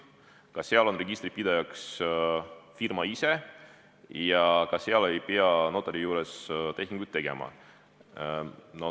Ka seal on registrite pidaja firma ise ja ka seal ei pea notari juures tehinguid tegema.